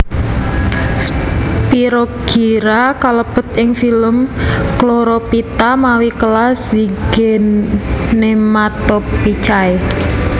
Spirogyra kalebet ing filum Chlorophyta mawi kelas Zygnematophyceae